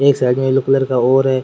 एक साइड मे एक येलो कलर का और है।